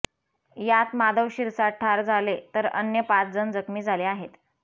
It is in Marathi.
यात माधव शिरसाठ ठार झाले तर अन्य पाच जण जखमी झाले आहेत